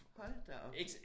Hold da op